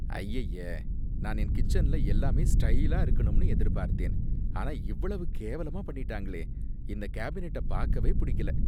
அய்யய்ய! நான் என் கிச்சன்ல எல்லாமே ஸ்டைலா இருக்கணும்னு எதிர்பார்த்தேன், ஆனா இவ்வளவு கேவலமா பண்ணிட்டாங்களே! இந்த கேபினட்ட பாக்கவே புடிக்கல.